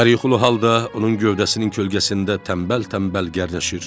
Yarı yuxulu halda onun gövdəsinin kölgəsində tənbəl-tənbəl gərdəşir.